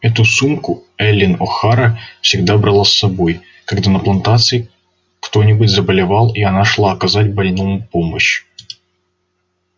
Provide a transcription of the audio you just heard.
эту сумку эллин охара всегда брала с собой когда на плантации кто-нибудь заболевал и она шла оказать больному помощь